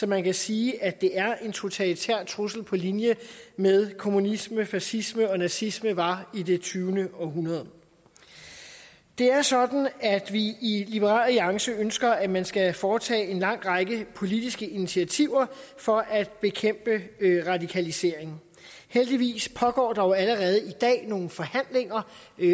man kan sige at det er en totalitær trussel på linje med hvad kommunismen fascismen og nazismen var i det tyvende århundrede det er sådan at vi i liberal alliance ønsker at man skal foretage en lang række politiske initiativer for at bekæmpe radikaliseringen heldigvis pågår der jo allerede i dag nogle forhandlinger